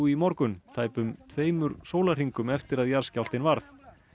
í morgun tæpum tveimur sólarhringum eftir að jarðskjálftinn varð